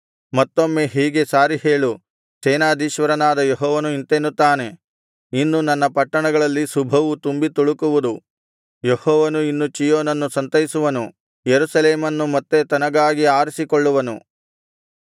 ಮತ್ತೊಮ್ಮೆ ಹೀಗೆ ಸಾರಿ ಹೇಳು ಸೇನಾಧೀಶ್ವರನಾದ ಯೆಹೋವನು ಇಂತೆನ್ನುತ್ತಾನೆ ಇನ್ನು ನನ್ನ ಪಟ್ಟಣಗಳಲ್ಲಿ ಶುಭವು ತುಂಬಿ ತುಳುಕುವುದು ಯೆಹೋವನು ಇನ್ನು ಚೀಯೋನನ್ನು ಸಂತೈಸುವನು ಯೆರೂಸಲೇಮನ್ನು ಮತ್ತೆ ತನಗಾಗಿ ಆರಿಸಿಕೊಳ್ಳುವನು